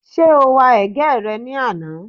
Ṣé o wa ẹ̀gẹ́ rẹ ní àná?